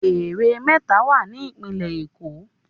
Ère méta wà ní ìpínlẹ̀ Èkó